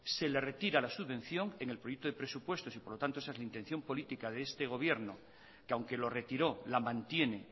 se le retira la subvención en el proyecto de presupuestos y por lo tanto esa es la intención política de este gobierno que aunque lo retiró la mantiene